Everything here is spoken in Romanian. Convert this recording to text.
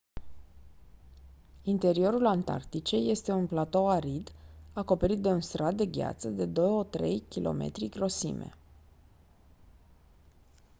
interiorul antarcticei este un platou arid acoperit de un strat de gheață de 2-3 km grosime